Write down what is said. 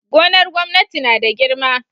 Gonar gwamnati nada girma